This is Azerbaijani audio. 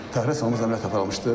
Təcili əməliyyat aparılmışdır.